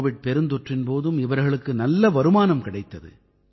Covid பெருந்தொற்றின் போதும் இவர்களுக்கு நல்ல வருமானம் கிடைத்தது